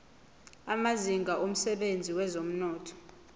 amazinga emsebenzini wezomnotho